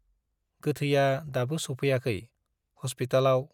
गोथैया दाबो सौफैयाखै, हस्पितालाव